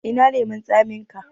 Ina lemon tsaminka?